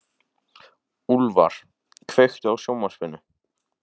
Úlfar, kveiktu á sjónvarpinu.